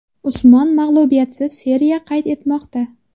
Usmon mag‘lubiyatsiz seriya qayd etmoqda.